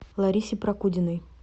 ларисе прокудиной